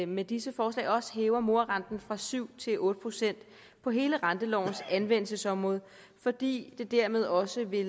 med disse forslag også hæver morarenten fra syv procent til otte procent på hele rentelovens anvendelsesområde fordi det dermed også vil